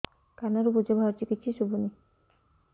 କାନରୁ ପୂଜ ବାହାରୁଛି କିଛି ଶୁଭୁନି